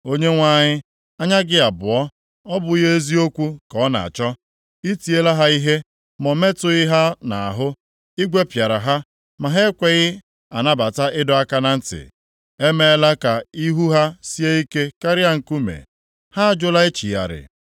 Onyenwe anyị, anya gị abụọ ọ bụghị eziokwu ka ọ na-achọ? Ị tiela ha ihe, ma o metụghị ha nʼahụ. I gwepịara ha, ma ha ekweghị a nabata ịdọ aka na ntị. Ha emeela ka ihu ha sie ike karịa nkume, ha ajụla ịchịgharị.